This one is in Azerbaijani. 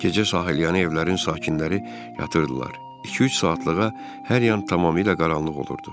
Gecə sahilyanı evlərin sakinləri yatırdılar, iki-üç saatlığa hər yan tamamilə qaranlıq olurdu.